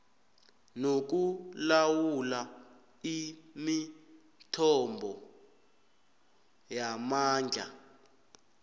nokulawula imithombo yamandla